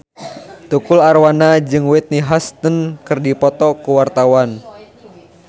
Tukul Arwana jeung Whitney Houston keur dipoto ku wartawan